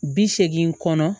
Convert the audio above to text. Bi seegin kɔnɔ